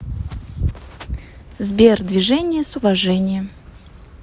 сбер движение с уважением